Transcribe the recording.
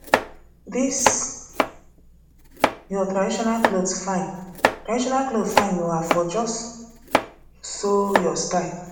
dis your traditional cloth fine traditional cloth fine oo i for just sew your style